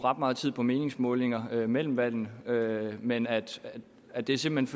meget tid på meningsmålinger mellem valgene men at at det simpelt